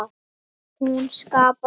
En hún skapaði líka hættur.